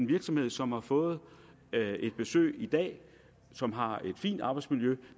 virksomhed som har fået et besøg i dag og som har et fint arbejdsmiljø